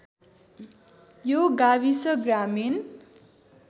यो गाविस ग्रामीण